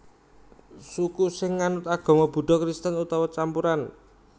Suku sing nganut agama Buddha Kristen utawa campuran